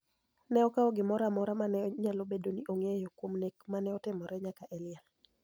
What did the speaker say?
ka okawo gimoro amora ma ne nyalo bedo ni ong�eyo kuom nek ma ne otimre nyaka e liel.